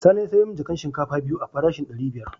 Sani ya sayar min da jakan shinkafa biyu a farashin dari biyar.